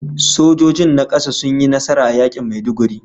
Sojojin na kasa sun yi nasara a yakin Maiduguri